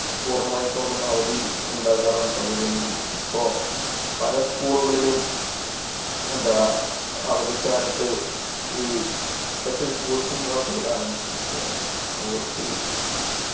പൂർണമായിക്കൊണ്ടും അവധി ഉണ്ടാകാറാണ് പതിവ് എങ്കിൽ ഇപ്പോ പല School കളിലും എന്താ അവധിക്കാലത്ത് ഈ Special coaching class കൾ ആരംഭിച്ചിരിക്കുകയാണ് Sports ൽ